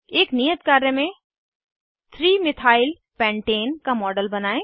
एक नियत कार्य में 3 methyl पेंटाने का मॉडल बनायें